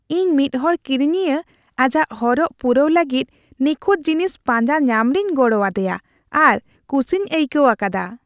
ᱤᱧ ᱢᱤᱫ ᱦᱚᱲ ᱠᱤᱨᱤᱧᱤᱭᱟᱹ ᱟᱡᱟᱜ ᱦᱚᱨᱚᱜ ᱯᱩᱨᱟᱣ ᱞᱟᱹᱜᱤᱫ ᱱᱤᱠᱷᱩᱛ ᱡᱤᱱᱤᱥ ᱯᱟᱸᱡᱟ ᱧᱟᱢ ᱨᱮᱧ ᱜᱚᱲᱚ ᱟᱫᱮᱭᱟ ᱟᱨ ᱠᱩᱥᱤᱧ ᱟᱭᱠᱟᱹᱣ ᱟᱠᱟᱫᱟ ᱾